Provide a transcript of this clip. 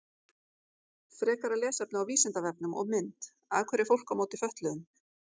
Frekara lesefni á Vísindavefnum og mynd Af hverju er fólk á móti fötluðum?